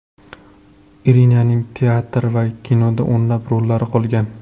Irinaning teatr va kinoda o‘nlab rollari qolgan.